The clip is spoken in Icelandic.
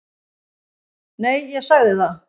Nei, ég sagði það.